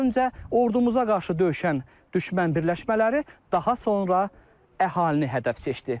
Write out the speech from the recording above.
Öncə ordumuza qarşı döyüşən düşmən birləşmələri, daha sonra əhalini hədəf seçdi.